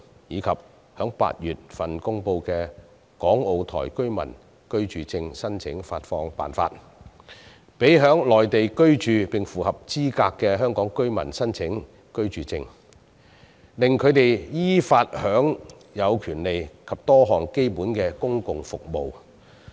此外，在8月公布的"港澳台居民居住證申領發放辦法"，讓在內地居住並符合資格的香港居民可申請居住證，藉以依法享有各種權利及多項基本公共服務。